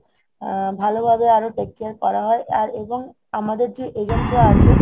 আ~ ভালো ভাবে আরো take care করা হয় আর এবং আমাদের যে agent রা আছে